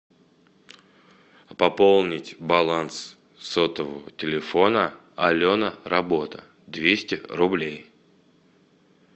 пополнить баланс сотового телефона алена работа двести рублей